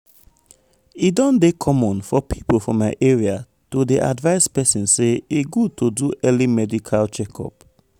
e don dey common for people for my area to dey advise persin say e good to do early medical check-up.